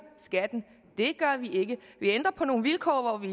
skatten det gør vi ikke vi ændrer på nogle vilkår hvor vi